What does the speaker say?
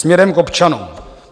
Směrem k občanům.